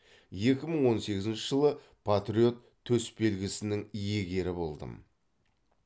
екі мың он сегізінші жылы патриот төсбелгісінің иегері болдым